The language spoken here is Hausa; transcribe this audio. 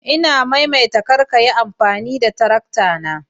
Ina maimaita kar ka Yi amfani da tarakta na